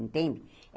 Entende?